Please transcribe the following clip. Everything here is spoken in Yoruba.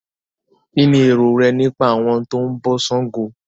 kín ni èrò rẹ nípa àwọn tó ń bọ ṣàngó?